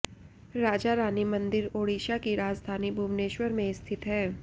राजारानी मंदिर ओडिशा की राजधानी भुवनेश्वर में स्थित है